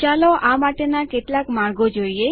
ચાલો આ માટેના કેટલાક માર્ગો જોઈએ